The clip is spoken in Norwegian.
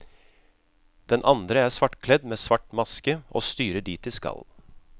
Den andre er svartkledd med svart maske og styrer dit de skal.